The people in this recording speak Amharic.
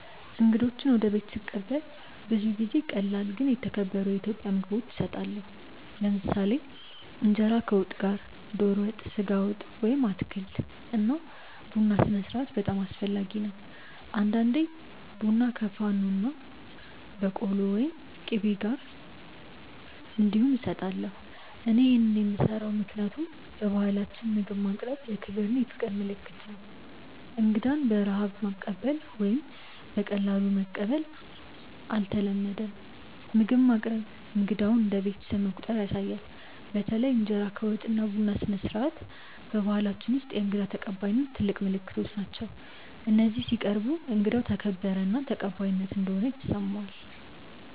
እንግዶችን ወደ ቤት ስቀበል ብዙ ጊዜ ቀላል ግን የተከበሩ የኢትዮጵያ ምግቦች እሰጣለሁ። ለምሳሌ እንጀራ ከወጥ ጋር (ዶሮ ወጥ፣ ስጋ ወጥ ወይም አትክልት) እና ቡና ስነስርዓት በጣም አስፈላጊ ነው። አንዳንዴ ቡና ከፋኖና በቆሎ ወይም ቂቤ ጋር እንዲሁም እሰጣለሁ። እኔ ይህን የምሰራው ምክንያቱም በባህላችን ምግብ ማቅረብ የክብር እና የፍቅር ምልክት ነው። እንግዳን በረሃብ ማቀበል ወይም በቀላሉ መቀበል አይተለመድም፤ ምግብ ማቅረብ እንግዳውን እንደ ቤተሰብ መቆጠር ያሳያል። በተለይ እንጀራ ከወጥ እና ቡና ስነስርዓት በባህላችን ውስጥ የእንግዳ ተቀባይነት ትልቅ ምልክቶች ናቸው፤ እነዚህ ሲቀርቡ እንግዳው ተከበረ እና ተቀባይ እንደሆነ ይሰማዋል።